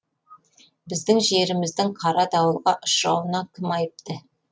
біздің жеріміздің қара дауылға ұшырауына кім айыпты